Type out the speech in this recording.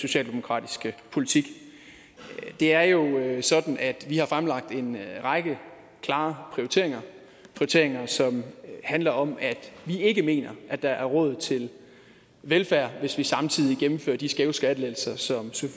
socialdemokratiske politik det er jo sådan at vi har fremlagt en række klare prioriteringer prioriteringer som handler om at vi ikke mener at der er råd til velfærd hvis vi samtidig gennemfører de skæve skattelettelser som